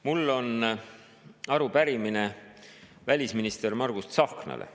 Mul on arupärimine välisminister Margus Tsahknale.